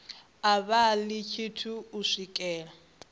vha ḽi tshithu u swikela